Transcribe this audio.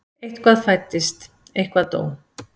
Eitthvað fæddist, eitthvað dó.